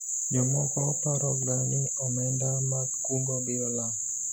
jomoko paro ga ni omenda mag kungo biro lal